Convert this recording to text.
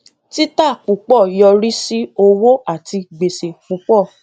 títà púpọ yọrí sí owó àti gbèsè púpọ